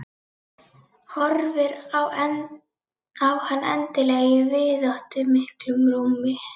Horfir á hann endilangan í víðáttumiklu rúmi.